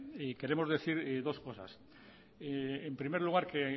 queremos decir dos cosas en primer lugar que